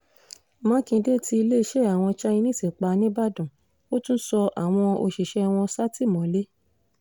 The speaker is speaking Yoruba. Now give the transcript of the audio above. mákindé tí iléeṣẹ́ àwọn chinese pa níìbàdàn ó tún sọ àwọn òṣìṣẹ́ wọn sátìmọ́lé